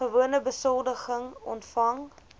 gewone besoldiging ontvang